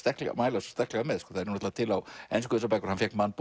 mæla sterklega með þær eru til á ensku hann fékk man